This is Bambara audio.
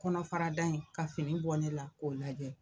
Kɔnɔfara da in ka fini bɔ ne la k'o lajɛ.